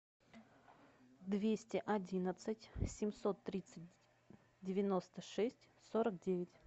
двести одинадцать семьсот тридцать девяносто шесть сорок девять